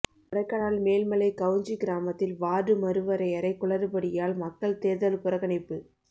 கொடைக்கானல் மேல்மலை கவுஞ்சி கிராமத்தில் வார்டு மறுவரையறை குளறுபடியால் மக்கள் தேர்தல் புறக்கணிப்பு